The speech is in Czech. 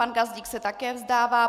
Pan Gazdík se také vzdává.